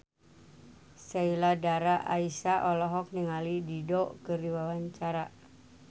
Sheila Dara Aisha olohok ningali Dido keur diwawancara